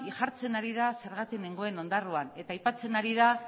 jartzen ari da zergatik nengoen ondarroan eta aipatzen ari da